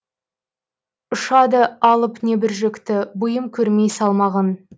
ұшады алып небір жүкті бұйым көрмей салмағын